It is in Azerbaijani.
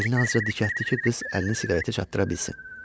Belini azca dikəltdi ki, qız əlini siqaretə çatdıra bilsin.